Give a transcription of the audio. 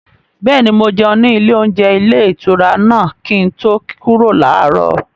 Bẹ́ẹ̀ni, mo jẹun ní ilé-oúnjẹ ilé-ìtura náà kí n tó kúrò láàárọ̀.